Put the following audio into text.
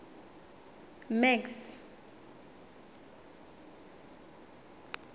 max